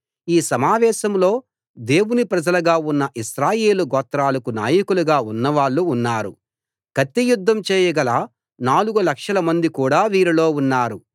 ఈ సమావేశంలో దేవుని ప్రజలుగా ఉన్న ఇశ్రాయేలు గోత్రాలకు నాయకులుగా ఉన్నవాళ్ళు ఉన్నారు కత్తియుద్ధం చేయగల నాలుగు లక్షలమంది కూడా వీరిలో ఉన్నారు